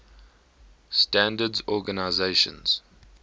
standards organizations